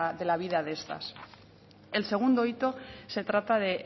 de la vida de estas el segundo hito se trata de